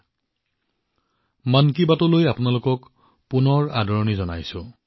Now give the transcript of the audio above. মই আপোনালোক সকলোকে মন কী বাতলৈ আকৌ এবাৰ উষ্ম আদৰণি জনাইছো